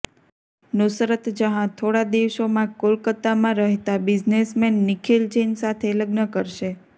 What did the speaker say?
નુસરત જહાં થોડા દિવસોમાં કોલકતામાં રહેતા બિઝનેસમેન નિખિલ જૈન સાથે લગ્ન કરશે